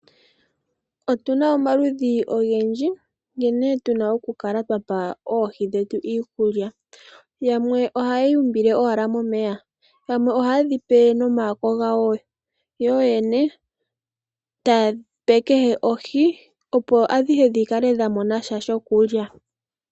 Otu na omaludhi ogendji nkene tu na okukala twa pa oohi dhetu iikulya. Yamwe ohaya umbile owala momeya. Yamwe ohaye dhi pe nomayako gawo yo yene taya pe kehe ohi, opo adhihe dhi kale dha mona sha shokulya.